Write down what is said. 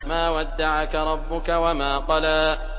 مَا وَدَّعَكَ رَبُّكَ وَمَا قَلَىٰ